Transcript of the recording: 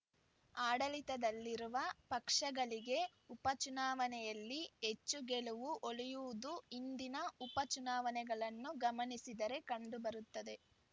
ಆಡಳಿತದಲ್ಲಿರುವ ಪಕ್ಷಗಳಿಗೆ ಉಪಚುನಾವಣೆಯಲ್ಲಿ ಹೆಚ್ಚು ಗೆಲುವು ಒಲಿಯುವುದು ಹಿಂದಿನ ಉಪಚುನಾವಣೆಗಳನ್ನು ಗಮನಿಸಿದರೆ ಕಂಡು ಬರುತ್ತದೆ